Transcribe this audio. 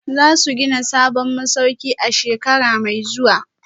Za su gina sabon masauki a shekara mai zuwa